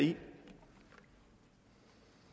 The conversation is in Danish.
det